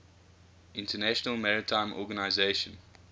international maritime organization